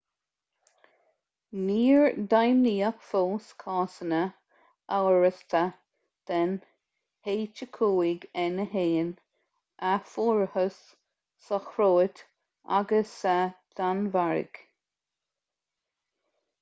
níor deimhníodh fós cásanna amhrasta den h5n1 a fuarthas sa chróit agus sa danmhairg